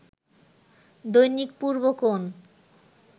Dainik Purbokone